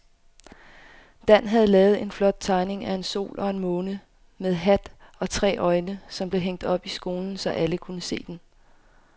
Dan havde lavet en flot tegning af en sol og en måne med hat og tre øjne, som blev hængt op i skolen, så alle kunne se den.